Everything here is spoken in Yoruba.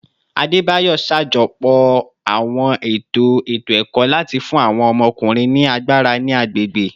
Adebayor ṣajọpọ awọn eto eto-ẹkọ lati fun awọn ọmọkunrin ni agbara ni agbegbe